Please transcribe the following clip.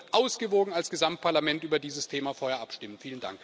Aber wir sollten ausgewogen als Gesamtparlament über dieses Thema vorher abstimmen.